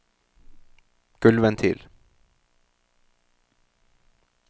gulvventil